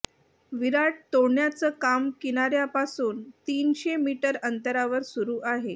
विराट तोडण्याचं काम किनाऱ्यापासून तीनशे मीटर अंतरावर सुरू आहे